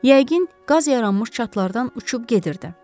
Yəqin qaz yaranmış çatqlardan uçub gedirdi.